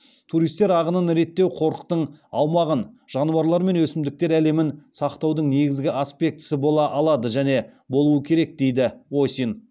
туристер ағынын реттеу қорықтың аумағын жануарлар мен өсімдіктер әлемін сақтаудың негізгі аспектісі бола алады және болуы керек дейді осин